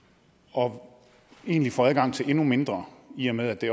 og egentlig får adgang til endnu mindre i og med at det